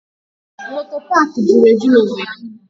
There are many motor parks in owerri.